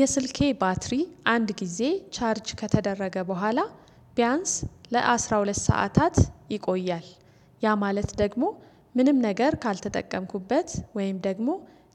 የስልኬ ባትሪ አንድ ጊዜ ቻርጅ ከተደረገ በኋላ ቢያንስ ለአሥራ ሁለት ሰዓታት ይቆያል። ያ ማለት ደግሞ ምንም ነገር ካልተጠቀምኩበት ወይም ደግሞ